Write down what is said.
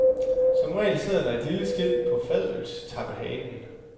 Som regel sidder der et lille skilt på fadølstappehanen.